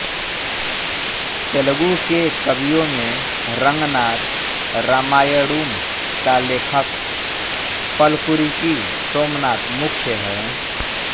तेलगु के कवियों में रंगनाथ रामायणुम का लेखक पलकुरिकी सोमनाथ मुख्य हैं